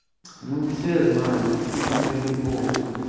ну все знаю что ты моя любовь